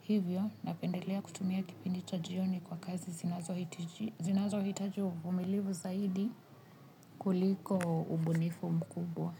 hivyo napendelea kutumia kipindi cha jioni kwa kazi zinazohitaji uvumilivu zaidi kuliko ubunifu mkubwa.